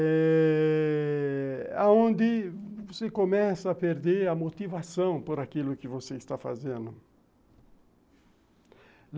Eh... aonde você começa a perder a motivação por aquilo que você está fazendo.